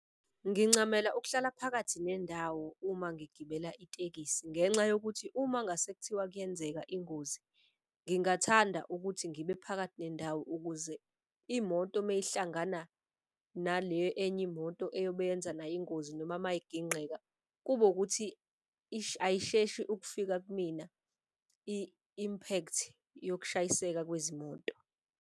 Ngincamela ukuhlala phakathi nendawo uma ngigibela itekisi ngenxa yokuthi uma ngase kuthiwa kuyenzeka ingozi ngingathanda ukuthi ngibe phakathi nendawo. Ukuze imoto meyihlangana nale enye imoto eyobe yenza nayo ingozi noma mayiginqeka. Kube ukuthi ayisheshi ukufika kumina i-impact yokushayiseka kwezimoto.